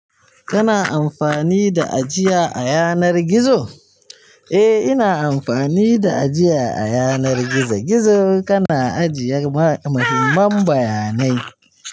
Kana amfani da ajiya a yanar gizo? Eh in na amfani da ajiya a yanar gizo gizo kana ajiye muhimman bayanai.